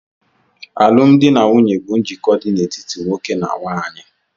Alụmdi na nwunye bụ njikọ dị n'etiti nwoke na nwanyị.